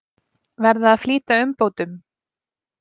Verða að flýta umbótum